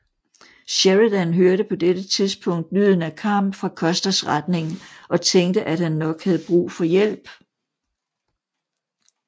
Sheridan hørte på dette tidspunkt lyden af kamp fra Custers retning og tænkte at han nok havde brug for hjælp